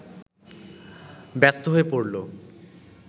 ব্যস্ত হয়ে পড়ল